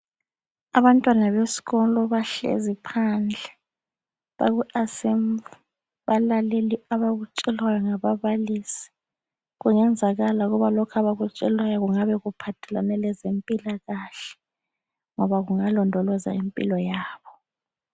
Abantwana besikolo bahlezi phandle baku assembly balalele abakutshelwa ngababalisi, kungenzakala ukuba lokhu abakutshelwayo kungabe kuphathelane lezempilakahle ngoba kungalondoloza impilo yabo